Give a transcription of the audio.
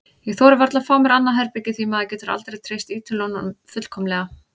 Ég þori varla að fá mér annað herbergi því maður getur aldrei treyst Ítölunum fullkomlega.